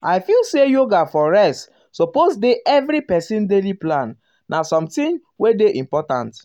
i um feel say yoga for rest suppose dey every person um daily plan na something wey dey important.